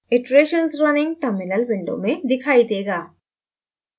iterations running terminal window में दिखाई देगा